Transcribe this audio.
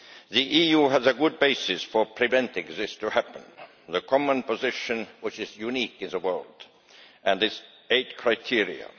The EU has a good basis for preventing this from happening the common position, which is unique in the world, and its eight criteria.